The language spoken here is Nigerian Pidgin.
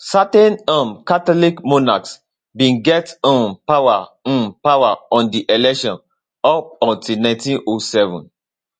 certain um catholic monarchs bin get um power um power on di election up until 1907